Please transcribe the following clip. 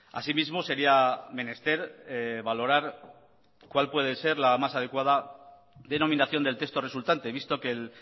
asimismo sería menester valorar cuál puede ser la más adecuada denominación del texto resultante visto que el